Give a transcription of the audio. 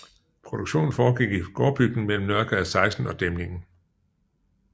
Produktionen foregik i gårdbygningen mellem Nørregade 16 og Dæmningen